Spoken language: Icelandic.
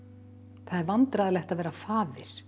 það er vandræðalegt að vera faðir